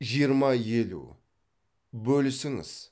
жиырма елу бөлісіңіз